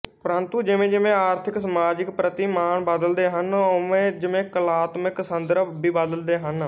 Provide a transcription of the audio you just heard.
ਪਰੰਤੂ ਜਿਵੇਂ ਜਿਵੇਂ ਆਰਥਿਕਸਮਾਜਿਕ ਪ੍ਰਤੀਮਾਨ ਬਦਲਦੇ ਹਨ ਉਵੇਂ ਜਿਵੇਂ ਕਲਾਤਮਕ ਸੰਦਰਭ ਵੀ ਬਦਲਦੇ ਹਨ